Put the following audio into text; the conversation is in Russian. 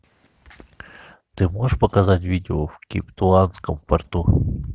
ты можешь показать видео в кейптаунском порту